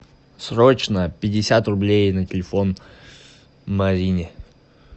срочно пятьдесят рублей на телефон марине